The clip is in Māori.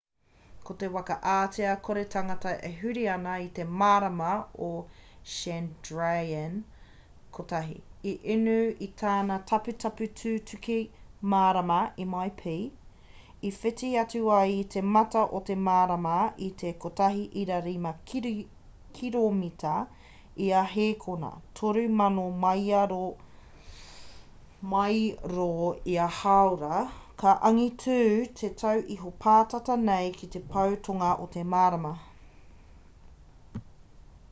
ko te waka ātea kore tangata e huri ana i te marama ko chandrayaan-1 i unu i tana taputapu tutuki marama mip i whiti atu ai i te mata o te marama i te 1.5 kiromita ia hēkona 3000 mairo ia hāora ka angitū te tau iho pātata nei ki te pou tonga o te marama